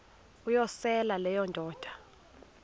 uyosele leyo indoda